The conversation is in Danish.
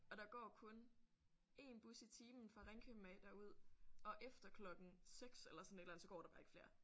Og der går kun én bus i timen fra Ringkøbing af derud og efter klokken 6 eller sådan et eller andet så går der bare ikke flere